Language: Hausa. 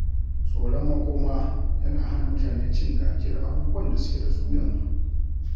Tsoron makoma yana hana mutane cin gajiyar abubuwan da suke da su yanzu.